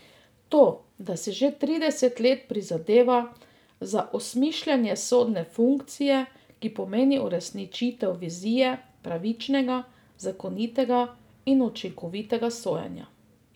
To, da si že trideset let prizadeva za osmišljenje sodne funkcije, ki pomeni uresničitev vizije pravičnega, zakonitega in učinkovitega sojenja.